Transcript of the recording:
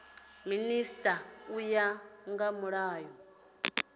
minisita u ya nga mulayo